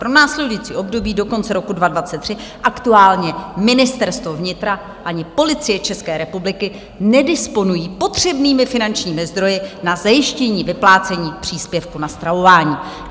Pro následující období do konce roku 2023 aktuálně Ministerstvo vnitra ani Policie České republiky nedisponují potřebnými finančními zdroji na zajištění vyplácení příspěvku na stravování.